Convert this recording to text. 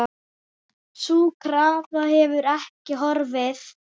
Sú krafa hefur ekki horfið.